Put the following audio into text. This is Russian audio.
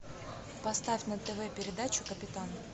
поставь на тв передачу капитан